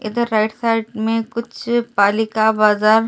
इधर right side में कुछ पालिका बाजार गेट नंबर ।